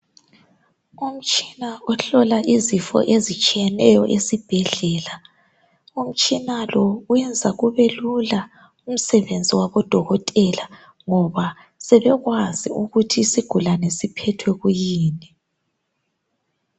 Umtshina ohlola izifo ezitshiyeneyo esibhedlela. Umtshina lo uyenza kube lula umsebenzi wabo dokotela ngoba sebekwazi ukuthi isigulane siphethwe kuyini.